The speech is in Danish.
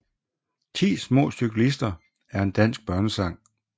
Ti små cyklister er en dansk børnesang